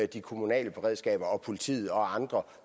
de kommunale beredskaber politiet og andre